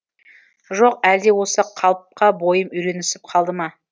жоқ әлде осы қалыпқа бойым үйренісіп қалды ма